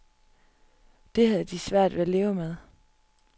Det har de svært ved at leve med.